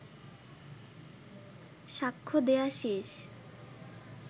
সাক্ষ্য দেয়া শেষ